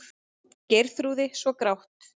Geirþrúði svo grátt.